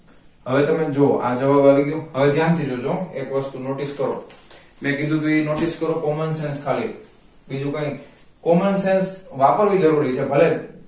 હવે તમે જુઓ આ જવાબ આવીગયો હવે ધ્યાનથી જોજો એક વસ્તુ notice કરો મેંકીધું તું ઈ notice કરો common sense ખાલી બીજું કાઈ નઈ common sense વાપરવી જરૂરી છે ભલે